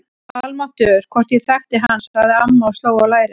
Almáttugur, hvort ég þekkti hann sagði amma og sló á lærið.